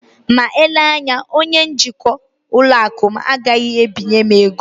Ma eleghị anya, onye njikwa ụlọ akụ m agaghị ebinye ego